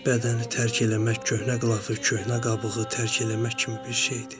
Bədəni tərk eləmək, köhnə qılafı, köhnə qabığı tərk eləmək kimi bir şeydir.